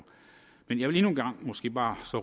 men jeg vil endnu en og måske bare